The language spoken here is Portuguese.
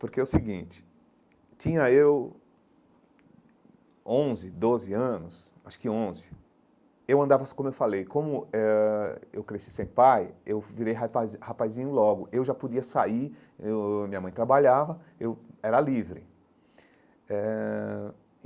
Porque é o seguinte, tinha eu onze, doze anos, acho que onze, eu andava, assim como eu falei, como eh ãh eu cresci sem pai, eu virei rapazi rapazinho logo, eu já podia sair, eu ãh minha mãe trabalhava, eu era livre eh.